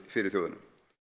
fyrir þjóðina